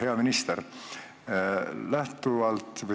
Hea minister!